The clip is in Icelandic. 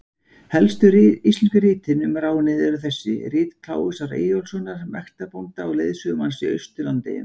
Helstu íslensku ritin um ránið eru þessi: Rit Kláusar Eyjólfssonar mektarbónda og lögsögumanns í Austur-Landeyjum.